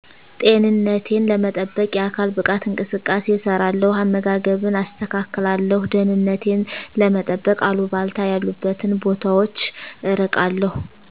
ጤንነቴን ለመጠበቅ የአካል ብቃት እንቅስቃሴ እሰራለው አመጋገብን አስተካክላለሁ ደህንነቴን ለመጠበቅ አልባልታ ያሉበትን ቦታወች እርቃለው